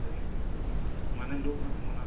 ସେଇ ମାନେ ସବୁ ଜିନିଷ ମାନେ ଯୋଉ ମାନେ ମନା